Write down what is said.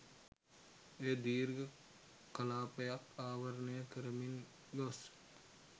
එය දීර්ඝ කලාපයක් ආවරණය කරමින් ගොස්